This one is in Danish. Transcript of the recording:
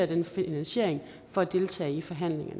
den finansiering for at deltage i forhandlinger